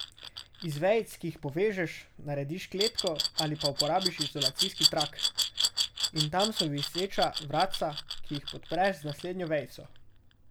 Iz vejic, ki jih povežeš, narediš kletko ali pa uporabiš izolacijski trak, in tam so viseča vratca, ki jih podpreš z naslednjo vejico.